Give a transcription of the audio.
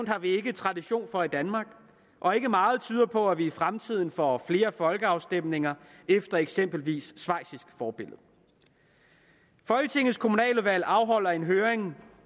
har vi ikke tradition for i danmark og ikke meget tyder på at vi i fremtiden får flere folkeafstemninger efter eksempelvis schweizisk forbillede folketingets kommunaludvalg afholder en høring